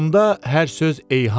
Onda hər söz eyhamdır.